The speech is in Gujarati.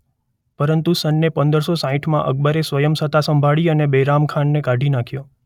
પરંતુ સને‌ પંદર સો સાંઠમાં અકબરે સ્વયં સત્તા સંભાળી અને બૈરામ ખાનને કાઢી નાખ્યો.